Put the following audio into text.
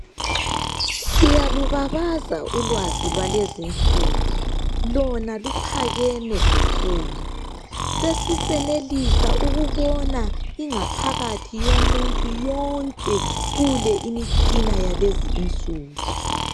Siyalubabaza ulwazi lwalezinsuku lona luphakeme kakhulu sesisenelisa ukubona ingaphakathi yomuntu yonke kule imitshina yakulezi insuku